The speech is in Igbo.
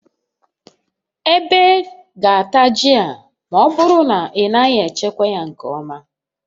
Ebe ga-ata ji a ma ọ bụrụ na ị naghị echekwa ya nke ọma